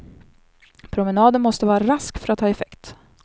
Promenaden måste vara rask för att ha effekt.